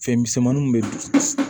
Fɛn misɛnmaninw bɛ